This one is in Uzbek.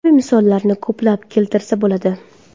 Bu kabi misollarni ko‘plab keltirsa bo‘ladi.